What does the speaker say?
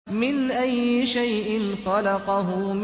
مِنْ أَيِّ شَيْءٍ خَلَقَهُ